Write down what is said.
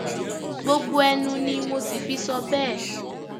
gbogbo ẹnu ni mo sì fi sọ bẹẹ